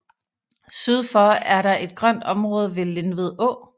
Syd for er der et grønt område ved Lindved Å